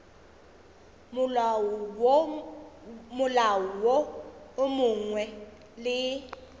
molao wo mongwe le wo